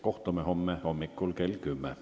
Kohtume homme hommikul kell 10.